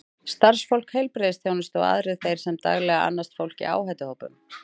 Starfsfólk heilbrigðisþjónustu og aðrir þeir sem daglega annast fólk í áhættuhópum.